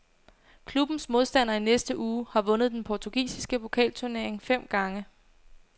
Klubbens modstander i næste uge har vundet den portugisiske pokalturnering fem gange.